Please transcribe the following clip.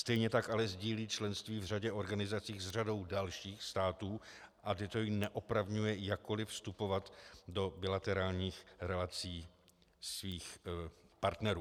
Stejně tak ale sdílí členství v řadě organizací s řadou dalších států a toto ji neopravňuje jakkoliv vstupovat do bilaterálních relací svých partnerů.